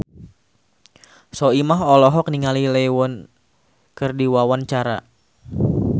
Soimah olohok ningali Lee Yo Won keur diwawancara